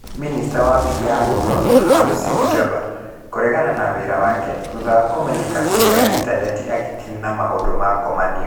Minista wa Abirika ya Mũhuro, Malusi Gigaba, kũregana na wĩra wake thutha wa kũmenyeka kũgerera intaneti agĩkenia na maũndũ ma ngomanio